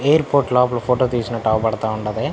Airport లోపల photo తీసినట్టు అవుపడతా ఉండాది.